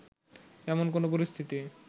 তেমন কোনো পরিস্থিতি